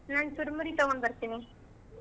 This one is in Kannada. ನಾನ್ ಚುರ್ಮುರಿ ತಗೊಂಡ್ ಬರ್ತೀನಿ.